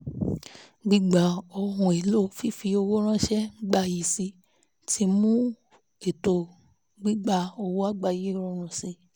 gbígba tí ohun èlò fífi owó ránṣẹ́ ń gbayì sí i ti mú ètò gbígba owó àgbáyé rọrùn sí